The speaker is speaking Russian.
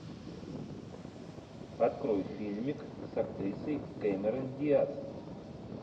открой фильмик с актрисой кэмерон диаз